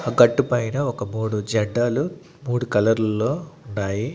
ఆ గట్టు పైన ఒక మూడు జెండాలు మూడు కలర్ లు లో ఉన్నాయి.